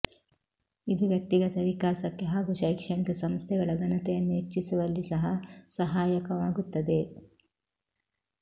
ಇದು ವ್ಯಕ್ತಿಗತ ವಿಕಾಸಕ್ಕೆ ಹಾಗೂ ಶೈಕ್ಷಣಿಕ ಸಂಸ್ಥೆಗಳ ಘನತೆಯನ್ನು ಹೆಚ್ಚಿಸುವಲ್ಲಿ ಸಹ ಸಹಾಯಕವಾಗುತ್ತದೆ